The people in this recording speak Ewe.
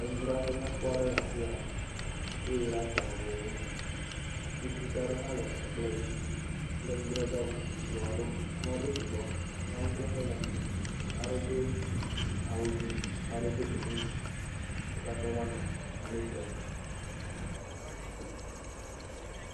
Nudzraƒe nyakpɔ aɖe le afia wowɔe ɖe atsã vovovowo me atikutsetse aɖewo ha le kplɔdzi kple nudzadzra bubu vovovo aɖewo ame aɖewo sugbɔ va nu ƒleƒe le eme ame aɖewo do awu dzĩ ame aɖewo do gbemumu wo katã va nɔ enu ƒlem